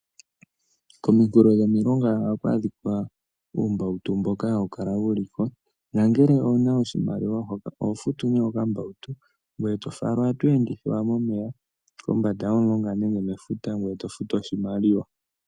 Komikulo dhomilonga ohaku adhika uumbautu mboka ha wu kala liko nangele owuna oshimaliwa oho futu nee okambautu ngoye to falwa to ende mefuta nenge kombanda yomulonga ngoye to futu uumbautuboka hawu kala wu liko nongele owuna oshimaliwa oho futu nee okambautu ngoye to falwa to futu oshimaliwa.